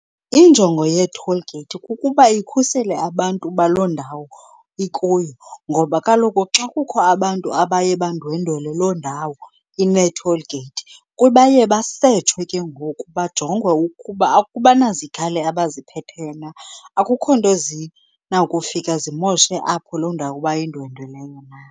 Injongo yee-toll gate kukuba ikhusele abantu baloo ndawo ikuyo ngoba kaloku xa kukho abantu abaye bandwendwele loo ndawo inee-toll gate, baye basetshwe ke ngoku bajongwe ukuba abanazikhali abaziphetheyo na, akukho nto zinawukufika zimoshe apho loo ndawo bayindwendweleyo na.